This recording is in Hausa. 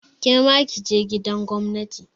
Kema kije gidan gwamnati!